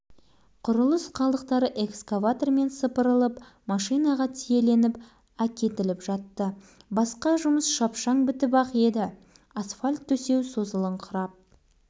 аптаның соңғы жұмыс күні аяқталған кезде ауланың сол жақ шетіндегі осы үйге келіп-кеткен машиналар тоқтауға арналған алаңқай жартылай